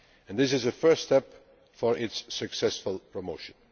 This is a first step in its successful promotion.